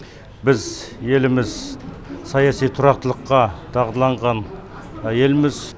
біз еліміз саяси тұрақтылыққа дағдыланған елміз